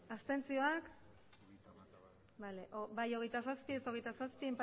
hirurogeita hamabost bai hogeita zazpi ez hogeita zazpi